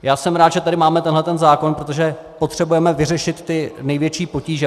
Já jsem rád, že tady máme tenhle zákon, protože potřebujeme vyřešit ty největší potíže.